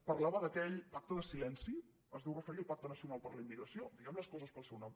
parlava d’aquell pacte de silenci es deu referir al pacte nacional per a la immigració diguem les coses pel seu nom